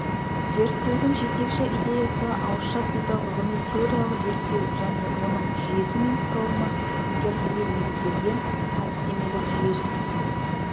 зерттеудің жетекші идеясы ауызша тілді ғылыми-теориялық зерттеу және оның жүйесі мен құрылымын меңгертуге негізделген әдістемелік жүйесін